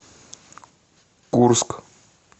курск